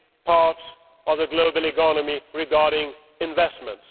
part of the global economy regarding investment.